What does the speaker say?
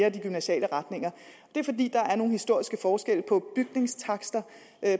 af de gymnasiale retninger det er fordi der er nogle historiske forskelle på bygningstakster